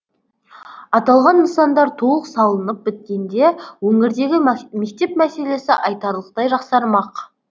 аталған нысандар толық салынып біткенде өңірдегі мектеп мәселесі айтарлықтай жақсармақ